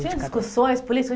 Tinha discussões políticas?